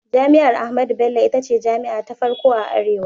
Jami'ar Ahmadu Bello ita ce jami'a ta farko a arewa.